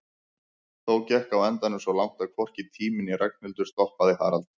Þó gekk á endanum svo langt að hvorki tími né Ragnhildur stoppaði Harald.